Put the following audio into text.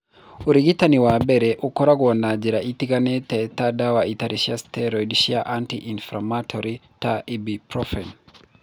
Ũrigitani wa mbere ũkoragwo na njĩra itiganĩte ta ndawa itarĩ cia steroid cia anti inflammatory ta Ibuprofen.